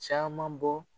Caman bɔ